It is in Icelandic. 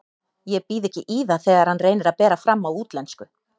Ég býð ekki í það þegar hann reynir að bera fram á útlensku.